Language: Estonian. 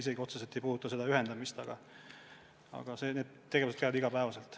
See otseselt ei puuduta seda ühendamist, see tegevus on igapäevane.